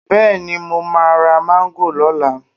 Bẹ́ẹ̀ni, mo máa ra Máńgò lọ́la